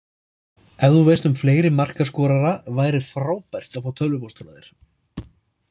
Ef þú veist um fleiri markaskorara væri frábært að fá tölvupóst frá þér.